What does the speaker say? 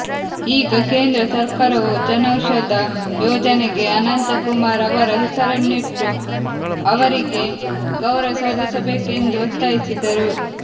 ಈಗ ಕೇಂದ್ರ ಸರ್ಕಾರವು ಜನೌಷಧ ಯೋಜನೆಗೆ ಅನಂತಕುಮಾರ್ ಅವರ ಹೆಸರಿನ್ನು ಇಟ್ಟು ಅವರಿಗೆ ಗೌರವ ಸಲ್ಲಿಸಬೇಕೆಂದು ಒತ್ತಾಯಿಸಿದರು